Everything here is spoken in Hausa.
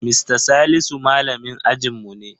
Mista Salisu malamin ajinmu ne.